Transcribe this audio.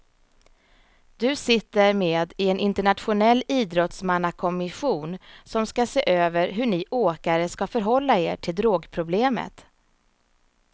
Du sitter med i en internationell idrottsmannakommission som ska se över hur ni åkare ska förhålla er till drogproblemet.